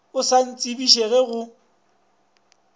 o sa ntsebiše ge go